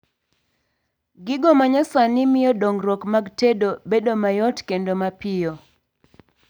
gigo manyasani mio dongruok mag tedo bedo mayot kendo mapiyo